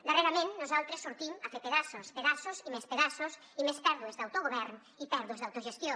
darrerament nosaltres sortim a fer pedaços pedaços i més pedaços i més pèrdues d’autogovern i pèrdues d’autogestió